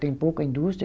Tem pouca indústria.